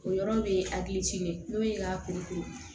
O yɔrɔ bɛ hakili ci n'o ye k'a kurukuru